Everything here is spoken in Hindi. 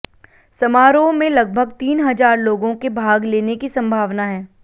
समारोह में लगभग तीन हजार लोगों के भाग लेने की संभावना है